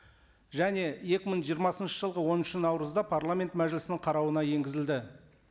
және екі мың жиырмасыншы жылғы оныншы наурызда парламент мәжілісінің қарауына енгізілді